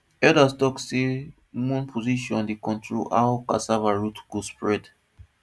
elders talk say moon position dey control how cassava root go spread